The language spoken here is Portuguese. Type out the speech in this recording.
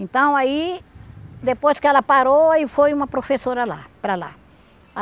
Então aí, depois que ela parou, e foi uma professora lá, para lá.